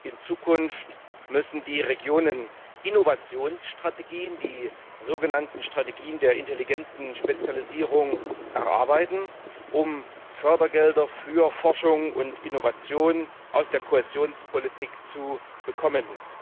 In Zukunft müssen die Regionen Innovationsstrategien die sogenannten Strategien der intelligenten Spezialisierung erarbeiten, um Fördergelder für Forschung und Innovation aus der Kohäsionspolitik zu bekommen.